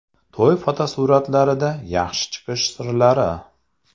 To‘y fotosuratlarida yaxshi chiqish sirlari.